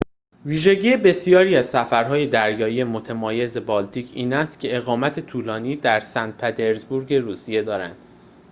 ویژگی بسیاری از سفرهای دریایی متمایز بالتیک این است که اقامت طولانی در سن پترزبورگ روسیه دارند